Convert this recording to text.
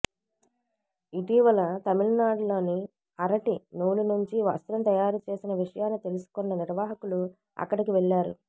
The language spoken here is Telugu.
ఇటీవల తమిళనాడులో అరటి నూలు నుంచి వస్త్రం తయారుచేసిన విషయాన్ని తెలుసుకున్న నిర్వాహకులు అక్కడికి వెళ్లారు